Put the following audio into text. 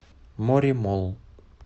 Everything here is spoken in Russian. моремолл